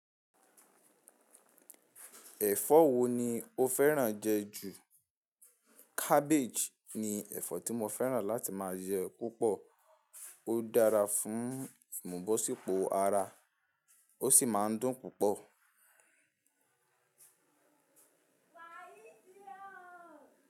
Ẹ̀fọ́ wo ni o fẹ́ràn jẹ ju? Cabbage ni ẹ̀fọ́ tí mo fẹ́ràn láti máa jẹ púpọ̀, ó dára fún ìmùbọ̀sípo ara ó sì máa ń dùn púpọ̀.